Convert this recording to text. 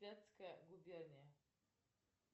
вятская губерния